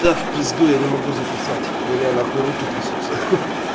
да в пизду я не могу записать у меня нахуй руки трясутся